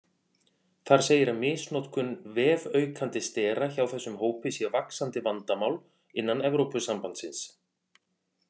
Þar segir að misnotkun vefaukandi stera hjá þessum hópi sé vaxandi vandamál innan Evrópusambandsins.